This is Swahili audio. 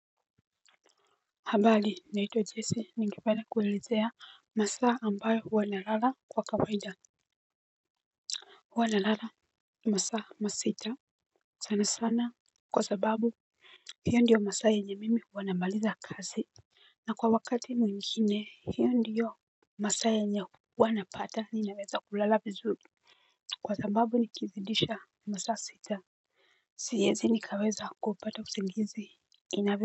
Habali naitwa jesi ningependa kuelezea masaa ambayo huwa nalala kwa kawaida. Huwa nalala masaa masita sana sana kwa sababu hiyo ndiyo masaa yenye mimi huwa namaliza kazi na kwa wakati mwingine hiyo ndiyo masaa yenye huwa napata ninaweza kulala vizuri kwa sababu nikizidisha masaa sita siezi nikaweza kupata usingizi inavo.